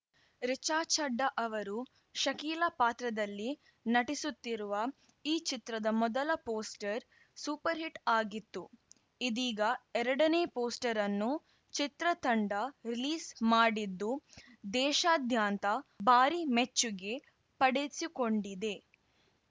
ರಿಚಾ ಚಡ್ಡಾ ಅವರು ಶಕೀಲ ಪಾತ್ರದಲ್ಲಿ ನಟಿಸುತ್ತಿರುವ ಈ ಚಿತ್ರದ ಮೊದಲ ಪೋಸ್ಟರ್‌ ಸೂಪರ್‌ಹಿಟ್‌ ಆಗಿತ್ತು ಇದೀಗ ಎರಡನೇ ಪೋಸ್ಟರ್‌ ಅನ್ನು ಚಿತ್ರತಂಡ ರಿಲೀಸ್‌ ಮಾಡಿದ್ದು ದೇಶಾದ್ಯಂತ ಭಾರಿ ಮೆಚ್ಚುಗೆ ಪಡೆದುಕೊಂಡಿದೆ